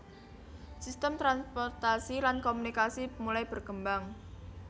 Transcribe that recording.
Sistem transportasi lan komunikasi mulai berkembang